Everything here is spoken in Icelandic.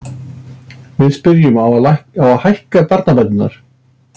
Við spurðum, á að hækka barnabætur?